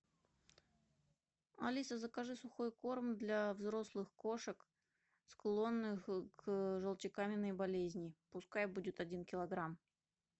алиса закажи сухой корм для взрослых кошек склонных к желчекаменной болезни пускай будет один килограмм